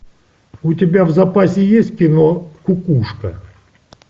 у тебя в запасе есть кино кукушка